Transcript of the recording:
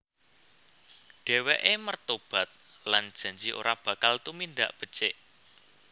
Dheweke mertobat lan janji ora bakal tumindak becik